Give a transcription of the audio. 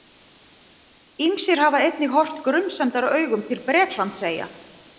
Ýmsir hafa einnig horft grunsemdaraugum til Bretlandseyja.